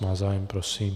Má zájem, prosím.